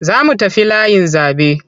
Za mu tafi layin zaɓe.